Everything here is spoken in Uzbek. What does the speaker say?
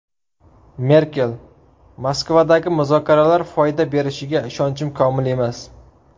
Merkel: Moskvadagi muzokaralar foyda berishiga ishonchim komil emas.